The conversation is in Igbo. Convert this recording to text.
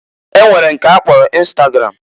E nwere nke a kpọrọ ịnstagram.